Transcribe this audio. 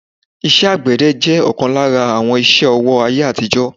iṣẹ́ àgbẹ̀dẹ jẹ́ ọ̀kan lára àwọn iṣẹ́-ọwọ́ ayé àtijó